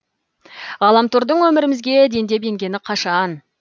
ғаламтордың өмірімізге дендеп енгені қашан